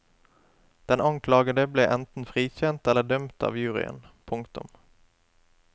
Den anklagede ble enten frikjent eller dømt av juryen. punktum